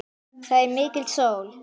Þar er mikil sól.